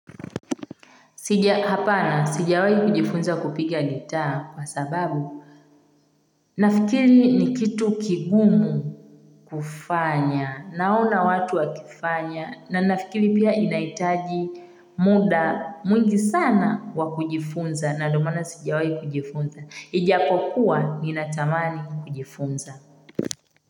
Sija hapana, sijawai kujifunza kupiga gitaa kwa sababu nafikiri ni kitu kigumu kufanya, naona watu wakifanya na nafikiri pia inahitaji muda mwingi sana wa kujifunza na ndio maana sijawai kujifunza. Ijapokuwa nina tamani kujifunza.